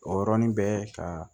O yɔrɔnin bɛɛ ka